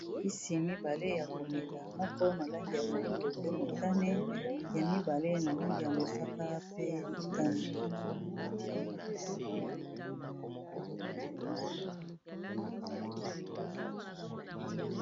Kisi mibale ya komela moko na langi ya moyindo pe motane ya mibale na langi ya mosaka pe motane.